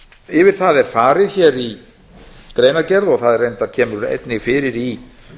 yfir það er farið hér í greinargerð það reyndar kemur einnig fyrir í